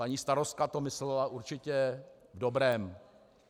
Paní starostka to myslela určitě v dobrém.